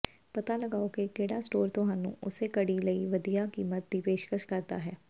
ਪਤਾ ਲਗਾਓ ਕਿ ਕਿਹੜਾ ਸਟੋਰ ਤੁਹਾਨੂੰ ਉਸੇ ਘੜੀ ਲਈ ਵਧੀਆ ਕੀਮਤ ਦੀ ਪੇਸ਼ਕਸ਼ ਕਰਦਾ ਹੈ